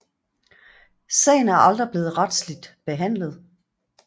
Sagen er aldrig blevet retsligt behandlet